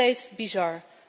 Compleet bizar!